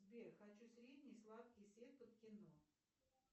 сбер хочу средний сладкий сет под кино